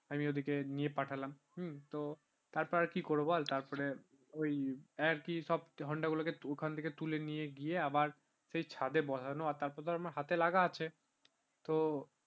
আমি ওদিকে নিয়ে পাঠালাম তো তারপর আর কি করবো বল তারপরে ওই আর কি সব honda গুলোকে ওখান থেকে তুলে নিয়ে গিয়ে আবার সেই ছাদে বসানো তারপর আমার হাতে লাগা আছে তো